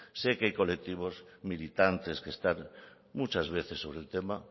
sé que colectivos militantes que están muchas veces sobre el tema